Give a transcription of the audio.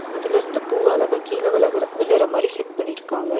அதுலருந்து பூ அழகா கீழ விழுகற விழுற மாரி செட் பண்ணிருக்காங்க.